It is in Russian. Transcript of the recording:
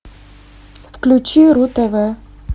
включи ру тв